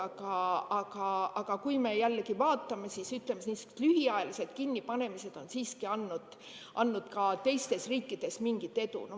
Aga jällegi, kui me vaatame, siis sellised lühiajalised kinnipanemised on siiski andnud ka teistes riikides mingit edu.